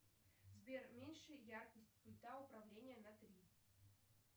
сбер меньше яркость пульта управления на три